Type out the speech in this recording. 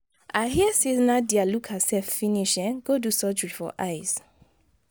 i hear say nadia look herself finish um go do surgery for eyes.